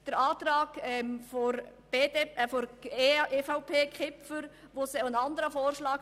Der Antrag von Grossrat Kipfer, EVP, macht einen anderen Vorschlag.